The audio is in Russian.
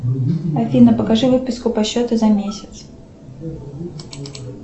афина покажи выписку по счету за месяц